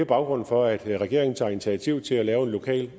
baggrunden for at regeringen tager initiativ til at lave en lokal